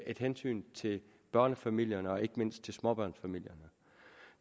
et hensyn til børnefamilierne og ikke mindst til småbørnsfamilierne